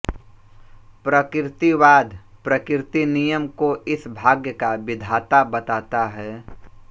प्रकृतिवाद प्रकृतिनियम को इस भाग्य का विधाता बताता है